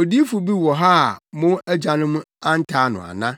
Odiyifo bi wɔ hɔ a mo agyanom antaa no ana?